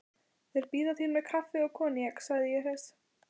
Þeir bíða þín með kaffi og koníak, segi ég hress.